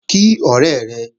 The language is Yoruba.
Kí ọ̀rẹ́ rẹ!